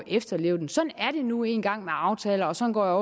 efterleve den sådan er det nu engang med aftaler og sådan går